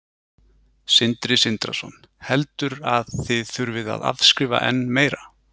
Sindri Sindrason: Heldur að þið þurfið að afskrifa enn meira?